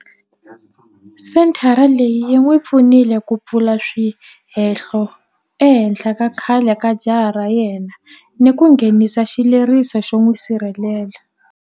Senthara leyi yi n'wi pfunile ku pfula swihehlo ehenhla ka khale ka jaha ra yena ni ku nghenisa xileriso xo n'wi sirhelela.